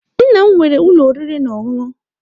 Nna m nwere ụlọ oriri na ọṅụṅụ.